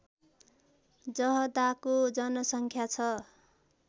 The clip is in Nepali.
जहदाको जनसङ्ख्या छ